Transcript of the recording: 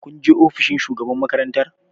Kun je ofishin shugaban makarantar?